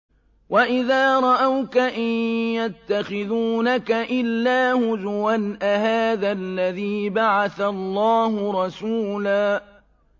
وَإِذَا رَأَوْكَ إِن يَتَّخِذُونَكَ إِلَّا هُزُوًا أَهَٰذَا الَّذِي بَعَثَ اللَّهُ رَسُولًا